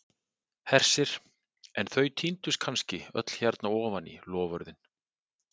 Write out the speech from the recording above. Hersir: en þau týndust kannski öll hérna ofan í, loforðin?